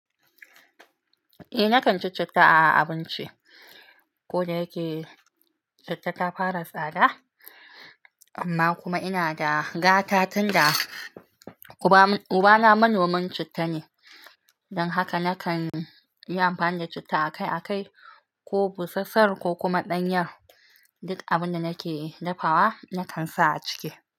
Eh nakan ci citta a abinci, ko da yake citta ta fara tsada amma kuma ina da gata tunda ubana manomin citta ne don haka nakan yi amfani da citta akai-akai ko busassar ko kuma ɗanyar duk abin da nake dafawa nakan sa a ciki.